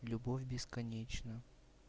любовь бесконечна